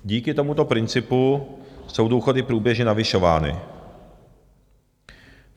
Díky tomuto principu jsou důchody průběžně navyšovány.